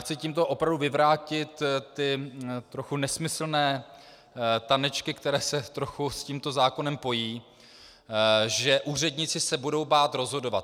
Chci tímto opravdu vyvrátit ty trochu nesmyslné tanečky, které se trochu s tímto zákonem pojí, že úředníci se budou bát rozhodovat.